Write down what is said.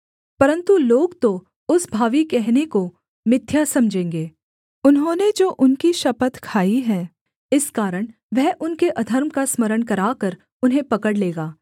परन्तु लोग तो उस भावी कहने को मिथ्या समझेंगे उन्होंने जो उनकी शपथ खाई है इस कारण वह उनके अधर्म का स्मरण कराकर उन्हें पकड़ लेगा